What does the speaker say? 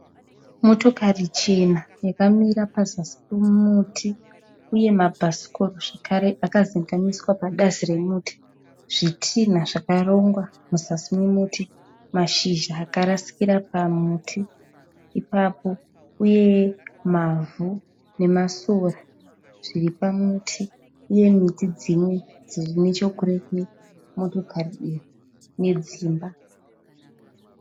Motokari chena yakamira pazasi pomuti, uye mabhasikoro zvekare akazendamiswa pabazi remuti. Zvitinha zvakarongwa muzasi memuti. Mashizha akarasikira pamuti ipapo uye mavhu nemasora zvripamuti. Uye miti dzimwe dzirinechekurekure motokari iyi nedzimba.